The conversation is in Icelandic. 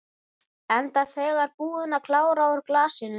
Enda þegar búin að klára úr glasinu.